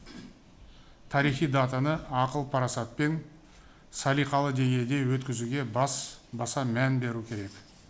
тарихи датаны ақыл парасатпен салиқалы деңгейде өткізуге баса мән беру керек